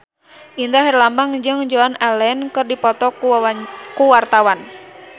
Indra Herlambang jeung Joan Allen keur dipoto ku wartawan